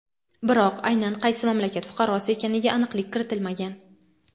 biroq aynan qaysi mamlakat fuqarosi ekaniga aniqlik kiritilmagan.